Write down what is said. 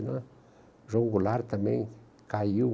né? João Goulart também caiu.